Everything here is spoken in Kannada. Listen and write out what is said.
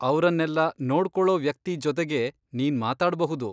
ಅವ್ರನ್ನೆಲ್ಲ ನೋಡ್ಕೊಳೋ ವ್ಯಕ್ತಿ ಜೊತೆಗೆ ನೀನ್ ಮಾತಾಡ್ಬಹುದು.